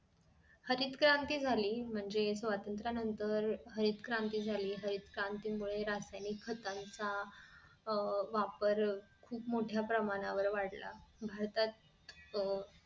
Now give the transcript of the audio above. हरितक्रांती झाली म्हणजे स्वतंत्र नंतर हरितक्रांती झाली हरितक्रांती मुळे रासायनिक खताचा अह वापर खुप मोठ्या प्रमाणावर वाढला भारतात अह